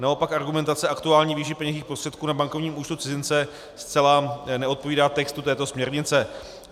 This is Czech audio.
Naopak argumentace aktuální výše peněžních prostředků na bankovním účtu cizince zcela neodpovídá textu této směrnice.